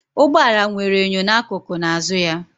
Ụgbọ ala nwere enyo n'akụkụ na azụ ya